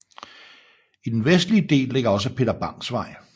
I den vestlige del ligger også Peter Bangs Vej